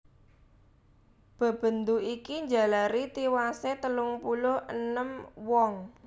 Bebendu iki njalari tiwasé telung puluh enem wong